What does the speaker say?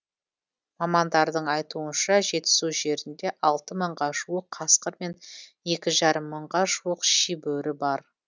мамандардың айтуынша жетісу жерінде алты мыңға жуық қасқыр мен екі жарым мыңға жуық шибөрі бар